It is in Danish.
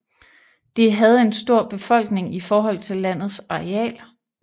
Det havde en stor befolkning i forhold til landets areal